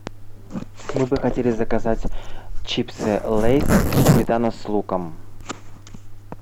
мы бы хотели заказать чипсы лейс сметана с луком